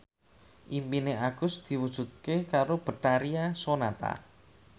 impine Agus diwujudke karo Betharia Sonata